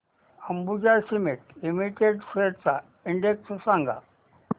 Ambuja cement limited shares चा index सांगा